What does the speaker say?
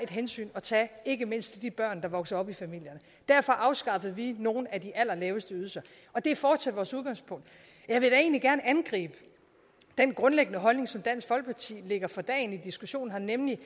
hensyn at tage ikke mindst til de børn der vokser op i familierne derfor afskaffede vi nogle af de allerlaveste ydelser og det er fortsat vores udgangspunkt jeg vil da egentlig gerne angribe den grundlæggende holdning som dansk folkeparti lægger for dagen i diskussionen her nemlig